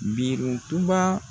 Biruntuba.